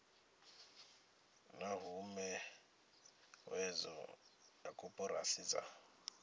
na huhuwedzo ya koporasi dza